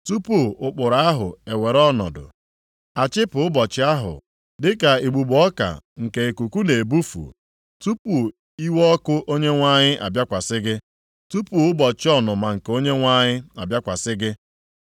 Tupu ụkpụrụ ahụ ewere ọnọdụ, a chịpụ ụbọchị ahụ dịka igbugbo ọka nke ikuku na-ebufu, tupu iwe ọkụ Onyenwe anyị abịakwasị gị, tupu ụbọchị ọnụma nke Onyenwe anyị abịakwasị gị.